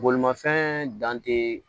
Bolimafɛn dan te